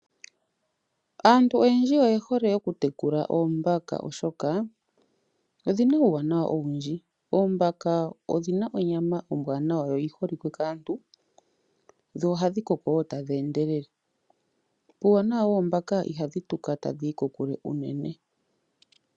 Aantu oyendji oye hole oku tekula oombaka oshoka odhina uuwanawa owindji. Oombaka Odhina onyama ombwaanawa yo oyi holike kaantu, dho ohadhi koko tadhi endelele, puuwanawa woombaka ihadhi tuka tadhi yi kokule unene.